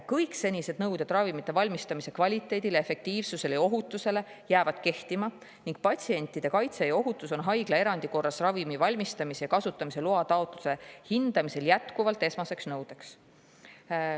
Kõik senised nõuded ravimite valmistamise kvaliteedile, efektiivsusele ja ohutusele jäävad kehtima ning patsientide kaitse ja ohutus on haiglaerandi korras ravimi valmistamise ja kasutamise loa taotluse hindamisel jätkuvalt esmaseks nõudeks.